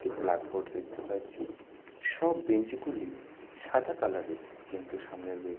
একটি black board দেখতে পাচ্ছি সব বেঞ্চ গুলি সাদা কালার -এর কিন্তু সামনে বে--